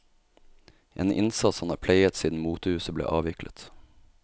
En innsats han har pleiet siden motehuset ble avviklet.